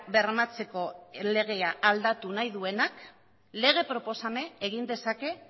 bermatzeko legea aldatu nahi duenak lege proposamena egin dezake